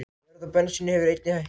Verð á bensíni hefur einnig hækkað